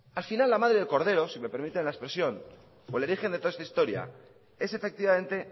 al final la madre del cordero i me permiten la expresión o el origen de toda esta historia es efectivamente